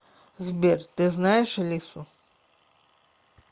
сбер ты знаешь алису